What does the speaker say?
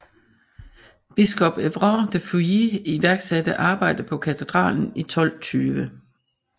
Biskop Evrard de Fouilly iværksatte arbejde på katedralen i 1220